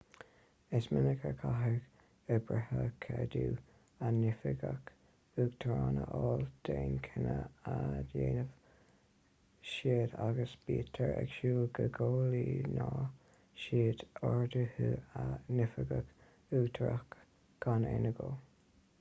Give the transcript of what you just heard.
is minic a chaithfidh oibrithe ceadú a n-oifigeach uachtarach a fháil d'aon chinneadh a dhéanann siad agus bítear ag súil go gcomhlíonfaidh siad orduithe a n-oifigeach uachtarach gan aon agó